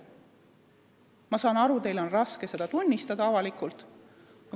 Ma saan aru, et teil on raske seda avalikult tunnistada.